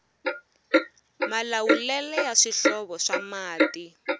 malawulele ya swihlovo swa mati